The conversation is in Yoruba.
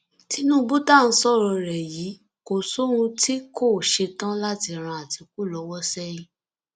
tinúbù tá à ń sọrọ rẹ yìí kò sóhun tí kò ṣe tán láti ran àtìkù lọwọ sẹyìn